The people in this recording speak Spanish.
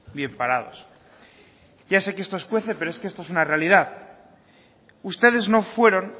bien parados ya sé que esto escuece pero es que esto es una realidad ustedes no fueron